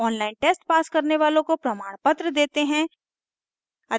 online test pass करने वालों को प्रमाणपत्र देते हैं